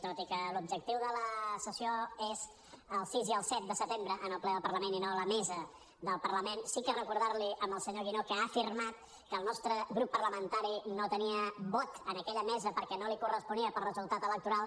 tot i que l’objectiu de la sessió és el sis i el set de setembre en el ple del parlament i no la mesa del parlament sí que recordar li al senyor guinó que ha afirmat que el nostre grup parlamentari no tenia vot en aquella mesa perquè no li corresponia per resultat electoral